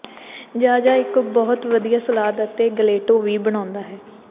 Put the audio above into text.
Zaza ਇਕ ਬਹੁਤ ਵਧੀਆ ਸਲਾਦ ਅਤੇ ਗਲੇਟੋ ਵੀ ਬਣਾਉਂਦਾ ਹੈ